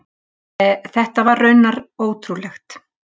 Þetta var raunar ótrúlegt.